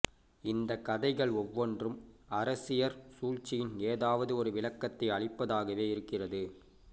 இந்தக் கதைகள் ஒவ்வொன்றும் அரசியற் சூழ்ச்சியின் ஏதாவது ஒரு விளக்கத்தை அளிப்பதாகவே இருக்கிறது